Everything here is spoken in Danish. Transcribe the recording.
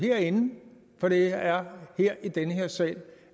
herinde for det er her i den her sal